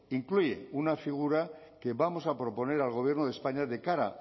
incluye una figura que vamos a proponer al gobierno de españa de cara